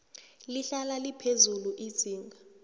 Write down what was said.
lihlale liphezulu izinga